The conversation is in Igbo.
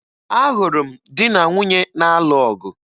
Ahụrụ m di na nwunye na-alụ ọgụ